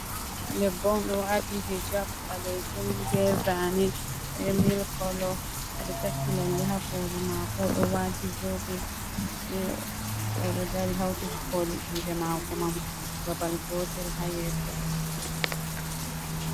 Debbo on ɗo waati hijab ɓalejum be zane be milik kolo. Oɗo takki lalle ha koli mako, oɗo waati zobe, oɗo dari hauti koli jude mako man babal gotel ha yeso.